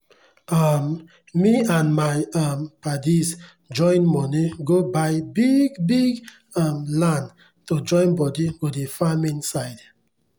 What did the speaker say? um me and my um padis join money go buy biggggg biggggg um land to join bodi go dey farm inside